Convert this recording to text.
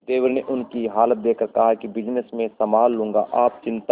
देवर ने उनकी ये हालत देखकर कहा कि बिजनेस मैं संभाल लूंगा आप चिंता